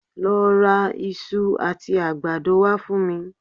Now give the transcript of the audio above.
Lọ ra iṣu àti àgbàdo wá fún mi